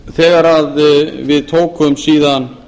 þegar við tókum síðan